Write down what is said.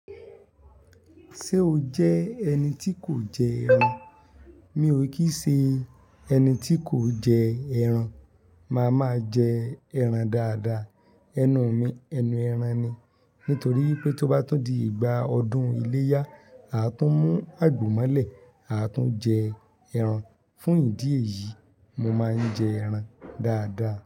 Ṣé o jẹ́ ẹni tí kò jẹ ẹran? Mi ò kí i ṣe ẹni tí kò jẹ ẹran. Máa máa jẹ ẹran dáadáa. Ẹnu mi ẹnu ẹran ni. Nítorí pé tó bá tun di ìgbà ọdún iléyá, a tún mú àgbo mọ́lẹ̀, a tún jẹ ẹran. Fún ìdí èyí, mo máa ń jẹ ẹran dáadáa.